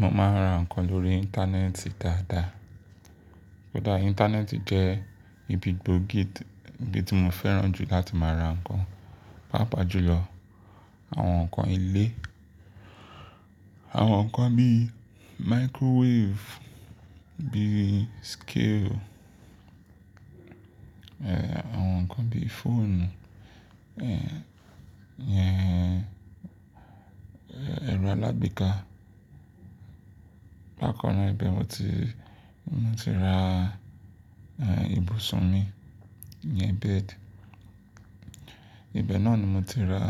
Mo máa ń ra ǹkan lórí íńtánẹ́ẹ̀tì dáadáa. Kódà íńtánẹ́ẹ̀tì jẹ́ ibi gbòógì tí mo fẹ́ràn jù láti máa ra nǹkan, pàápàá jùlọ àwọn nǹkan ilé. Àwọn nǹkan bí i microwave, bí i scale, àwọn nǹkan bí i fóònù iyẹn, ẹ̀rọ alágbéká. Bákan náà, ibẹ̀ mo ti, mo ti ra ibùsùn mi, ìyẹn bed. Ibẹ̀ náà ni mo ti ra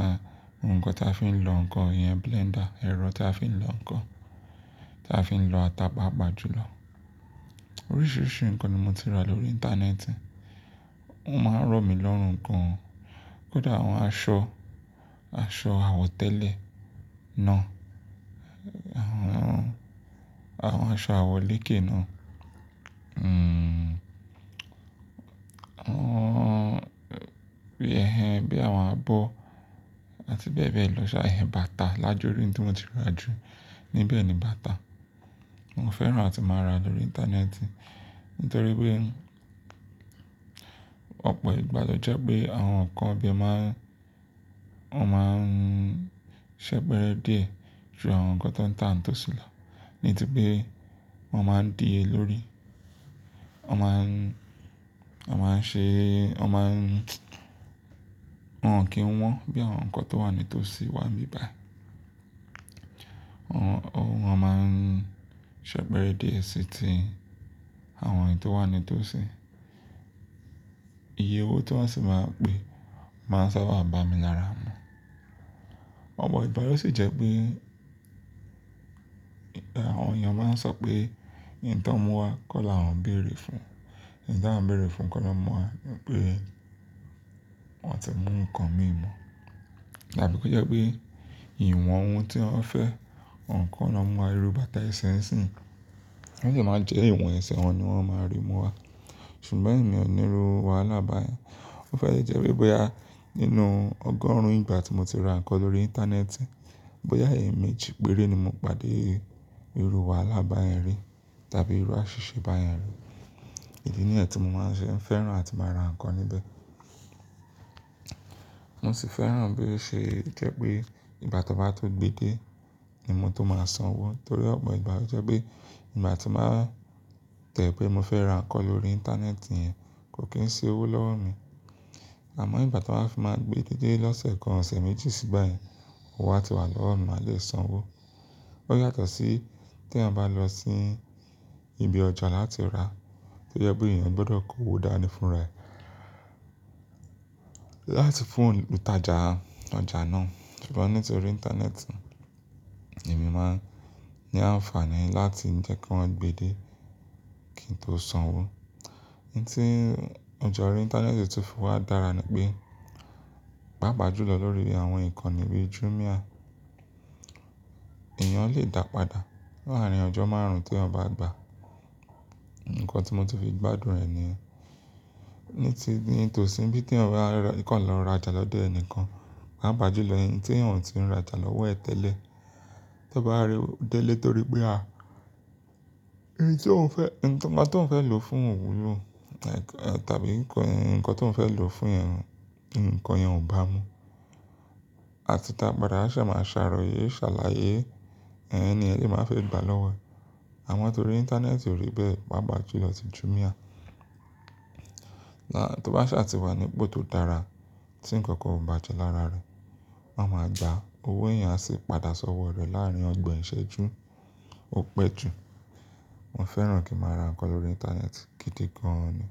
nǹkan tí a fi ń lọ nǹkan, ìyẹn blender, ẹ̀rọ tí a fi ń lọ nǹkan, tí a fi ń lọ ata, pàápàá jùlọ. Oríṣìíríṣìí nǹkan ni mo ti rà lórí íńtánẹ́ẹ̀tì. Ó máa ń rọ̀ mí lọ́rùn gan an kódà àwọn aṣọ, aṣọ àwọ̀tẹ́lẹ̀ náà, àwọn, àwọn aṣọ àwọ̀ lèké náà àwọn bí i ẹhẹn bí i àwọn abọ́ àti bẹ́ẹ̀ bẹ́ẹ̀ lọ. Ṣàí ẹhẹn bàtà lájuri tí mo ti rà jù níbẹ̀ ni bàtà. Mo fẹ́ràn láti máa ràja lórí íńtánẹ́ẹ̀tì nítorí pé ọ̀pọ̀ ìgbà ló jẹ́ pé àwọn nǹkan ibẹ̀ máa ń, wọ́n máa ń ṣẹ pẹrẹ díẹ̀ ju àwọn nǹkan tán ń tà ní tòsí lọ nítorí pé wọ́n máa ń diye lórí. Wọ́n máa ń, wọ́n máa ń ṣe, wọ́n máa ń, wọ́n kìí wọ́n bí àwọn nǹkan tó wà ní tòsí wà níbẹ̀ báyì. Wọ́n, wọ́n, wọ́n máa ń ṣẹpẹrẹ díẹ̀ sí ti àwọn èyí tó wà ní tòsí. Iye owó tí wọ́n sì máa pè máa ń sábà bà mí lára mu. Ọ̀pọ̀ ìgbà ló sì jẹ́ pé, àwọn èèyàn máa ń sọ pé ohun tí wọ́n mú wá kọ́ la àwọn ń bèrè fún. Ohun tí àwọn ń bèrè fún kọ́ ná múwá, pé wọ́n ò tíì mú nǹkan mí mọ̀. Tàbí kí ó jẹ́ pé ìwọ̀n ohun tí wọ́n fẹ́, ohun kò ná múwá, irú bàtà ẹsẹ ńisìn. Ó lè máa jẹ́ ìwọ̀n ẹsẹ̀ wọn ni wọ́n máa rí mú wá. Ṣùgbọ́n èmi ò ní ru wàhálà báyẹn. Ó fẹ́ jẹ́ wípé bóyá nínú ọgọ́rùn-ún ìgbà tí mo ti ra nǹkan lórí íńtánẹ́ẹ̀tì, bóyá ẹ̀meejì pére ni mo pàdé irú wàhálà bá yẹn rí tàbí irú àṣìṣe bá yẹn rí. Ìdí nìyẹn tí mo máa ń ṣe fẹ́ràn láti máa ra nǹkan níbẹ̀. Mo sì fẹ́ràn bí ó ṣe jẹ́ pé ìgbà tí wọ́n bá tó gbe de ni mo tó máa san owó torí ọ̀pọ̀ ìgbà ló jẹ́ pé ìgbà tí máa tẹ̀ pé mo fẹ́ ra nǹkan lórí íńtánẹ́ẹ̀tì yẹn kò kín ṣe owó lọ́wọ́ mi. Àmọ́ ìgbà tí wọ́n bá fi máa gbé dé lọ́sẹ̀ kan, ọ̀sẹ̀ méjì sígbà yẹn, owó á ti wà lọ́wọ́ mi, màá lè san owó. Ó yàtọ̀ sí tí ẹeyan bá lọ sí ibi ọjà láti rà tí ó jẹ́ pé èèyàn gbọdọ̀ kó owó dání fúnra ẹ láti fún òǹtajà ọjà náà. Ṣùgbọ́n nítorí íńtánẹ́ẹ̀tì, èmi máa ń ní àǹfààní láti jẹ́ kí wọ́n gbe de kí n tó san owó. Ohun tí ọjà orí íńtánẹ́ẹ̀tì ti fi wá dára ni pé, pàápàá jùlọ lórí àwọn ìkànnì bíi Jumia, èèyàn lè dàpadà láàárín ọjọ́ márùn-ún tí èèyàn bá gba nǹkan tí mo tún fi gbádùn rẹ̀ nìyẹn. Ní ti, ní tòsí bí ti èèyàn bá kàn lọ rajà lọ́dọ̀ ẹnìkan, pàápàá jùlọ ẹni tí ẹ̀eyan ò ti ń rajà lọ́wọ́ ẹ̀ tẹ́lẹ̀. Tí ọ bá rí o dé ilé torí pé à, èyí tí ò ń fẹ́, nǹkan tí ò ń fẹ́ lò fún òwúrọ̀ tàbí nǹkan, nǹkan tí ò ń fẹ́ lò fún yẹn, ǹkan yẹn ò bá mu. Àti dàpadà á ṣá máa a sàròyé, ṣàlàyé, ẹhẹn ẹni yẹn lè máa fi gba lọ́wọ́ ẹ̀. Àmọ́ torí íńtánẹ́ẹ̀tì ò rí bẹ́ẹ̀, pàápàá jùlọ ti Jumia, àà tó bá ṣàtì wá ní ipò tó dára tí ǹkankan ò bá jẹ́ lára rẹ̀, wọ́n máa gba owó èèyàn sì padà sọ́wọ́ rẹ̀ láàárín ọgbọ̀n ìṣẹ́jú, ó pẹ́ jù. Mo fẹ́ràn kí a máa ra nǹkan lórí íńtánẹ́ẹ̀tì gidi gan ni.